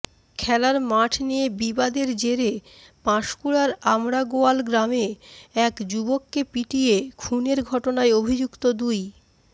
খেলার মাঠ নিয়ে বিবাদের জেরে পাঁশকুড়ার আমড়াগোয়াল গ্রামে এক যুবককে পিটিয়ে খুনের ঘটনায় অভিযুক্ত দুই